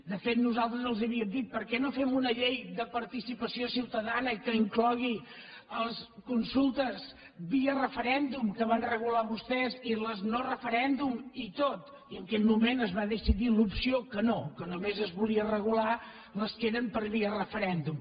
de fet nosaltres els havíem dit per què no fem una llei de participació ciutadana que inclogui les consultes via referèndum que van regular vostès i les no de referèndum i tot i en aquell moment es va decidir l’opció que no que només es volia regular les que eren per via referèndum